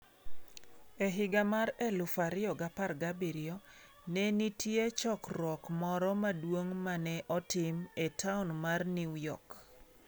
E higa mar 2017, ne nitie chokruok moro maduong ' ma ne otim e taon mar New York.